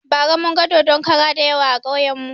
Bara munga dodon kara dayawa a kauyen mu